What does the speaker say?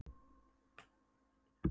Ég get fyrirgefið og þegið fyrirgefningu.